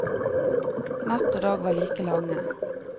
Natt og dag var like lange.